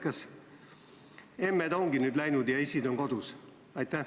Kas emmed ongi nüüd läinud ja issid on kodus?